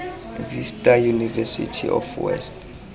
vista university of north west